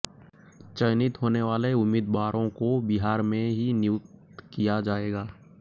चयनित होने वाले उम्मीदवारों को बिहार में ही नियुक्त किया जाएगा